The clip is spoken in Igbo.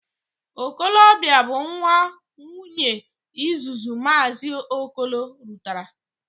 Okolobia bu nwa Nwunyee izuzu Maazi Okolo rutara.